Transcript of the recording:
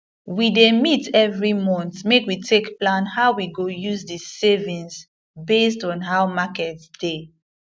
we dey meet evri month make we take plan how we go use di savings based on how market dey